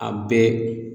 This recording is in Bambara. A bɛɛ